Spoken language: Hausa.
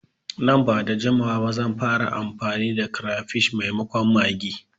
Nan bada jimawa ba zan fara amfani da kirefish maimakon maggi